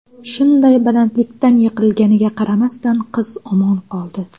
Shunday balandlikdan yiqilganiga qaramasdan qiz omon qoldi.